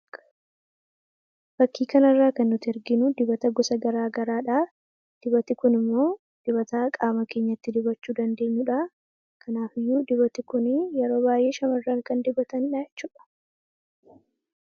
Fakkii kana irraa kan nuti arginu dibata gosa gara garaadha. Dibatni kun immoo dibata qaama keenyatti dibachuu dandeenyudha, kanaafiyyuu dibatni kun yeroo baay'ee shamarran kan dibatanidha jechudha.